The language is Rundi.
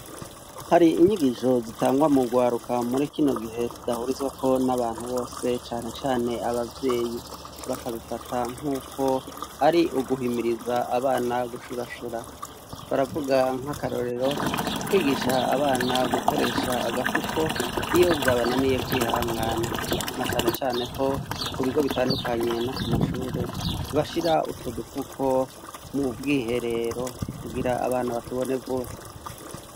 Hari inyigisho zitangwa mu rwaruka muri kino gihe zidahurizwako n'abantu bose canecane ababyeyi, bakabifata nk'uko ari uguhimiriza abana gushurashura. Baravuga nk'akarorero kwigisha abana gukoresha agafuko iyo vyabananiye kwihangana na canecane ko, ku bigo bitandukanye no ku mashure bashira utwo dufuko mu bwiherero kugira abana batubone vuba.